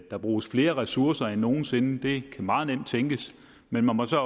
der bruges flere ressourcer end nogen sinde det kan meget nemt tænkes men man må så